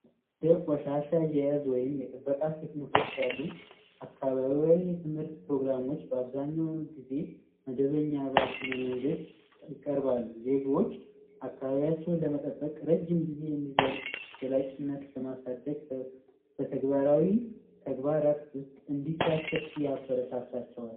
የቆሻሻ አያያዝ ወይም ቴክኒኮች አሉ አካባቢያዊ የትምህርት ፕሮግራሞች አብዛኛውን ጊዜ መደበኛ ባልሆነ መንገድ ይቀርባሉ። ዜጎች አካባቢያቸውን ለመጠበቅ ረጅም ጊዜ የሚዘልቅ በዘላቂነት ለማሳደግ በተግባራዊ ተግባራት ውስጥ እንዲሳተፉ ያበረታታቸዋል።